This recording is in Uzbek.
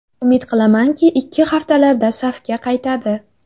Umid qilamanki, ikki haftalarda safga qaytadi.